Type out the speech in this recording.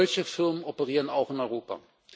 Solche Firmen operieren auch in Europa.